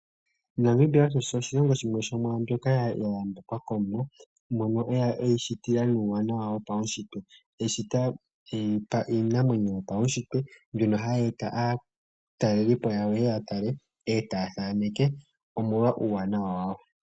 Namibia osho oshilongo shimwe sho mwaambyoka ya yambekwa kOmuwa. Mono e yi shitila nuuwanawa wo paushitwe. E yi shita e yi pa iinamwenyo yopaushitwe, mbyono e yi aataleli po yayo, ye ye ya talele po, e taa thaneke, omolwa uuwanawa wayo.